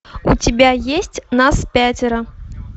у тебя есть нас пятеро